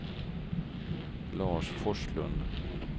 Lars Forslund